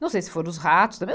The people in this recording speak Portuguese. Não sei se foram os ratos também.